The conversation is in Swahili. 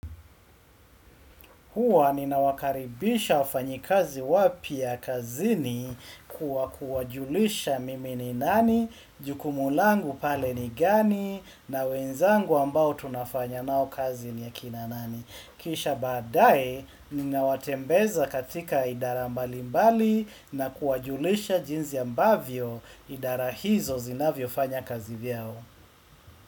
Hua ninawakaribisha wafanyikazi wapya kazini kwa kuwajulisha mimi ni nani, jukumu langu pale ni gani, na wenzangu ambao tunafanya nao kazi ni akina nani. Kisha baadae, ninawatembeza katika idara mbalimbali na kuwajulisha jinsi ambavyo idara hizo zinavyofanya kazi vyao.